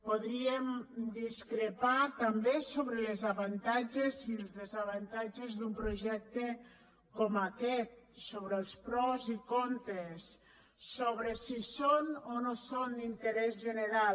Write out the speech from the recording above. podríem discrepar també sobre els avantatges i els desavantatges d’un projecte com aquest sobre els pros i contres sobre si són o no són d’interès general